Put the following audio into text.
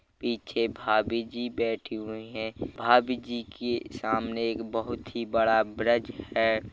पीछे भाभी जी बैठी हुई हैं भाभी जी के सामने एक बहुत ही बड़ा ब्रिज है।